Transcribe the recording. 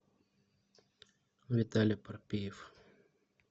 виталя парпиев